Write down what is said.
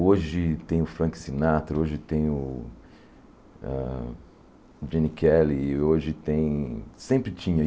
Hoje tem o Frank Sinatra, hoje tem o hã Gene Kelly, e hoje tem... Sempre tinha.